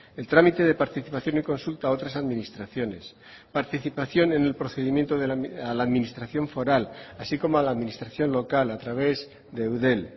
el trámite de participación y consulta a otras administraciones participación en el procedimiento a la administración foral así como a la administración local a través de eudel